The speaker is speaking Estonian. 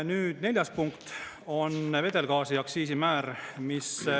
Nüüd, neljas punkt on vedelgaasi aktsiisimäär.